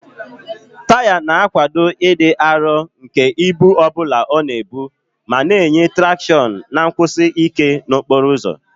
Taya na-akwado ịdị arọ nke ibu ọ bụla ọ na-ebu ma na-enye traction na nkwụsi ike n'okporo ụzọ.